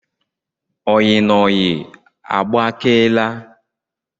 Oyi na oyi agbakeela